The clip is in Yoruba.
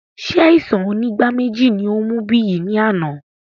Ṣé àìsàn onígbáméjì ní ó mú Biyi ní àná?